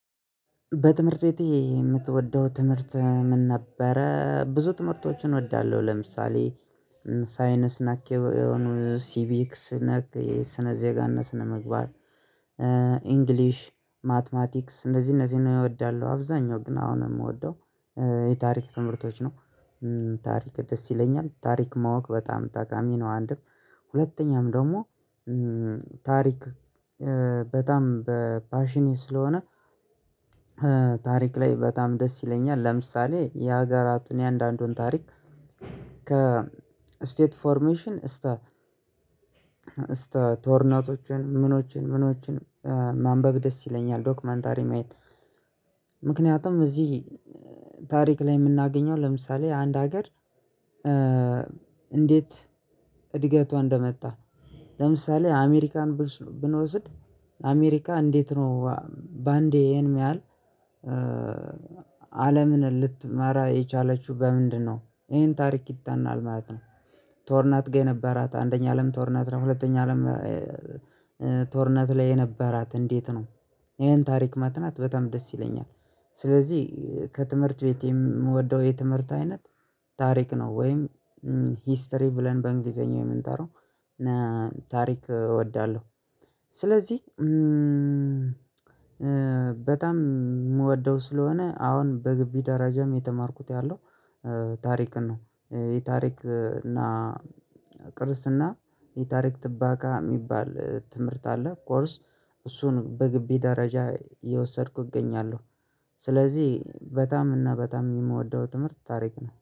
በትምህርት ቤት የምትወደው ትምህርት ምን ነበረ ብዙ ትምህርቶችን እወዳለሁ? ለምሳሌ ሳይንስ ነክ የሆኑ ሲቪክስ ነክ ስነ ዜጋነ ስነ ምግባር። ማትማቲክስ እነዚህ እነዚህን እምወዳለው አብዛኛው ግን አሁን የምወደው የታሪክ ትምህርቶች ነው። ታሪክ ደስ ይለኛል ታሪክ ማወቅ በጣም ጣቃሚ ነው አንድም ሁለተኛም ደግሞ ታሪክ በጣም በፓሽኔ ስለሆነ። ታሪክ ላይ በጣም ደስ ይለኛል ለምሳሌ የሀገራቱን እያንዳንዱን ታሪክ ከስቴት ፎርሜሽን እስከ እስከ ጦርናቶችን ምኖችን ምኖችን ማንበብ ደስ ይለኛል ዶክመንታሪ ማየት። ምክንያቱም እዚህ ታሪክ ላይ የምናገኘው ለምሳሌ አንድ ሀገር እንዴት እድገቷ እንደመጣ ለምሳሌ አሜሪካን ብንወስድ አሜሪካ እንዴት ነው በአንዴ ይሄን ያህል አለምን ልትመራ የቻለችው በምንድነው ይሄን ታሪክ ይጣናል ማለት ነው? ጦርናት ጋር የነበራት አንደኛ አለም ጦርናት ነው ሁለተኛ አለም ጦርናት ላይ የነበራት እንዴት ነው ይሄን ታሪክ መጥናት በጣም ደስ ይለኛል። ስለዚህ ከትምህርት ቤቴ የምወደው የትምህርት አይነት። ታሪክ ነው ወይም ሂስትሪ ብለን በእንግሊዘኛ የምንጠራው ታሪክ እወዳለሁ። ስለዚህ በጣም የምወደው ስለሆነ አሁን በግቢ ደረጃም የተማርኩት ያለው ታሪክን ነው የታሪክ እና ቅርስና የታሪክ ጥበቃ የሚባል ትምህርት አለ ኮርስ እሱን በግቢ ደረጃ እነወሰድኩ እገኛለሁ። ስለዚህ በጣም እና በጣም የምወደው ትምህርት ታሪክ ነው